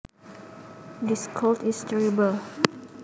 This cold is terrible